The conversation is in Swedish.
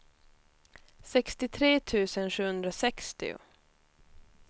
sextiotre tusen sjuhundrasextio